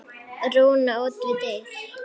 Rúna út við dyr.